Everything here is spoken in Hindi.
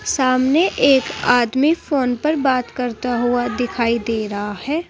सामने एक आदमी फोन पर बात करता हुआ दिखाई दे रहा है।